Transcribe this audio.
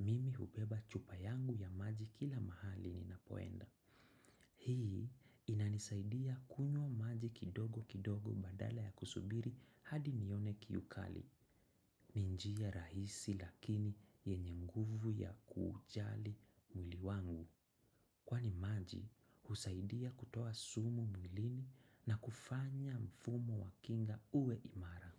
mimi hubeba chupa yangu ya maji kila mahali ni napoenda. Hii inanisaidia kunywa maji kidogo kidogo badala ya kusubiri hadi nione kiu kali. Ni njia rahisi lakini yenye nguvu ya kuujali mwili wangu. Kwani husaidia kutoa sumu mwilini na kufanya mfumo wa kinga uwe imara.